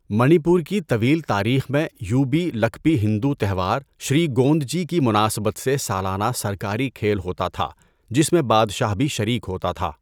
منی پور کی طویل تاریخ میں، یوبی لکپی ہندو تہوار شری گوندجی کی مناسبت سےسالانہ سرکاری کھیل ہوتا تھا، جس میں بادشاہ بھی شریک ہوتا تھا۔